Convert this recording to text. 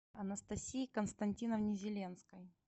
анастасии константиновне зеленской